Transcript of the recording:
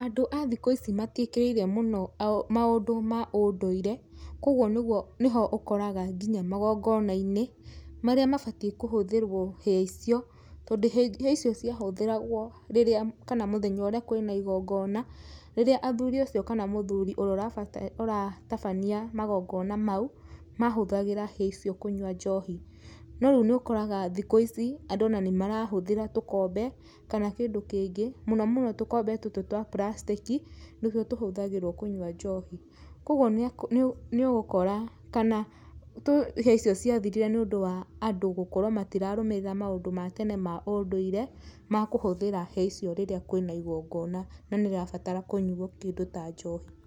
Andũ a thikũ ici matiĩkĩrĩire mũno maũndũ ma ũndũire, kũguo nĩguo nĩho ũkoraga nginya magongona-inĩ, marĩa mabatiĩ kũhũthĩrwo hĩa icio, tondũ hĩa icio ciahũthĩragwo rĩrĩa kana mũthenya ũrĩa kwĩna igingona, rĩrĩa athuri acio kana mũthuri ũrĩa ũratabania magongona mau, mahũthagĩra hĩa icio kũnyua njohi. No rĩu nĩ ũkoraga thikũ ici, andũ ona nĩ marahũthĩra tũkombe kana kĩndũ kĩngĩ, mũno mũno tũkombe tũtũ twa puracitĩkĩ, nĩtuo tũhũthagĩrwo kũnyua njohi. Kũguo nĩ ũgũkora kana hĩa icio ciathirire nĩ ũndũ wa andũ gũkorwo matirarũmĩrĩra maũndũ ma tene ma ũndũire ma kũhũthĩra hĩa icio rĩrĩa kwĩna igongona na nĩ rĩrabatara kũnyuo kĩndũ ta njohi.